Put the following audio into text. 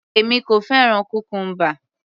Èmi kò fẹ́ràn cucumber